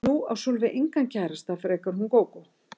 Því að nú á Sólveig engan kærasta frekar en hún Gógó.